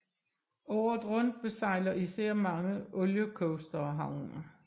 Året rundt besejler især mange oliecoastere havnen